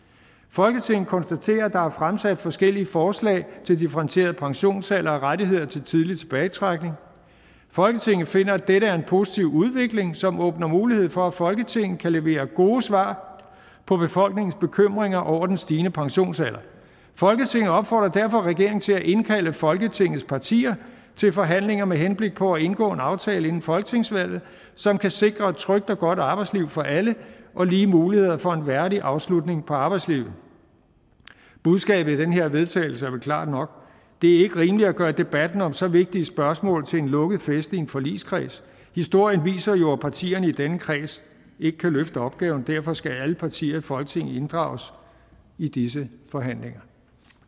folketinget konstaterer at der er fremsat forskellige forslag til differentieret pensionsalder og rettigheder til tidlig tilbagetrækning folketinget finder at dette er en positiv udvikling som åbner mulighed for at folketinget kan levere gode svar på befolkningens bekymringer over den stigende pensionsalder folketinget opfordrer derfor regeringen til at indkalde folketingets partier til forhandlinger med henblik på at indgå en aftale inden folketingsvalget som kan sikre et trygt og godt arbejdsliv for alle og lige muligheder for en værdig afslutning på arbejdslivet budskabet i det her vedtagelse er vel klart nok det er ikke rimeligt at gøre debatten om så vigtige spørgsmål til en lukket fest i en forligskreds historien viser jo at partierne i denne kreds ikke kan løfte opgaven derfor skal alle partier i folketinget inddrages i disse forhandlinger